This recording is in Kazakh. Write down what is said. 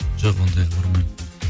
жоқ ондайға бармаймын